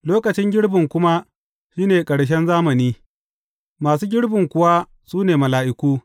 Lokacin girbi kuma shi ne ƙarshen zamani, masu girbin kuwa su ne mala’iku.